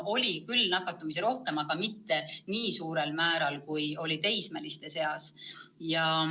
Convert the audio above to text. Oli küll rohkem nakatumisi, aga mitte nii suurel määral, kui oli teismeliste seas.